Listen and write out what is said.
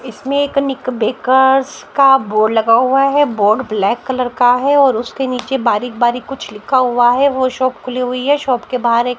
इसमें एक Nick bakers का बोर्ड लगा हुआ है बोर्ड ब्लैक कलर का है और उसके नीचे बारीक बारीक कुछ लिखा हुआ है वो शॉप खुली हुई है शॉप के बाहर एक--